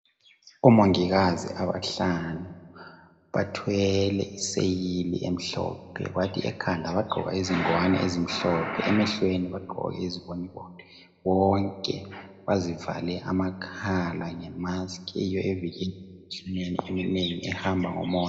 Omongikazi abahlanu, bathwele iseyili emhlophe, kwathi ekhanda bagqoka izingwane ezimhlophe, emehlweni bagqoka iziboniboni, bonke bazivale amakhala ngemask eyiyo evikela emikhuhlaneni eminengi ehamba ngomoya.